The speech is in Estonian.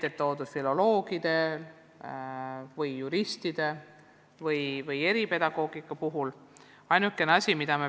Siin toodi näiteks filoloogide, juristide ja eripedagoogide võimalusi.